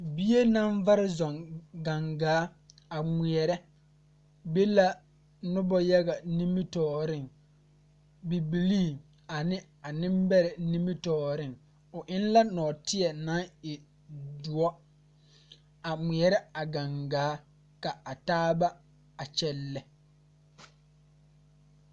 Bie naŋ vare zuŋ gaŋgaa a ngmeɛrɛ be la nobɔ yaga nimitooreŋ bibilii ane a neŋbɛrɛ nimitooreŋ o eŋ la nɔɔteɛ naŋ e doɔ a ngmeɛrɛ a gaŋgaa ka a taa ba a kyɛlɛ.